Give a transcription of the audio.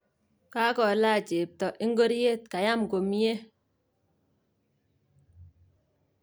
Kakolach chepto ikoryet, kayam komie.